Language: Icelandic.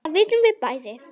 Það vitum við bæði.